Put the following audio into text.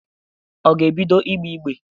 Ọ ga-ebido ìgbé ígbé?